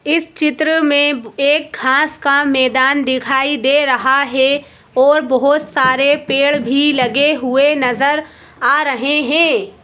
इस चित्र में एक घास का मैदान दिखाई दे रहा है और बहुत सारे पेड़ भी लगे हुए नजर आ रहे हैं।